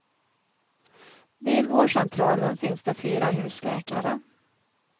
Vid vårdcentralen finns det fyra husläkare.